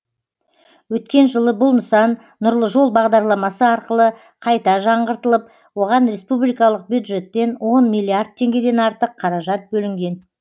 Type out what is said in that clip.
өткен жылы бұл нысан нұрлы жол бағдарламасы арқылы қайта жаңғыртылып оған республикалық бюджеттен он миллиард теңгеден артық қаражат бөлінген